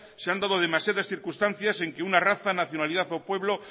se han dado demasiadas circunstancias en que una raza nacionalidad o pueblo